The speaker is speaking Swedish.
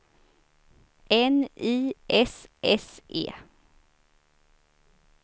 N I S S E